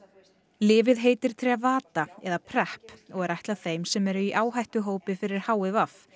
lyfið heitir Trevada eða Prep og er ætlað þeim sem eru í áhættuhópi fyrir h i v